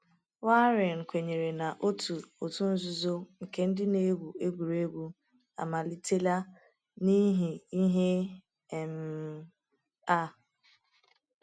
Waring kwenyere na otu òtù nzuzo nke ndị na-egwu egwuregwu amalitela n’ihi ihe um a.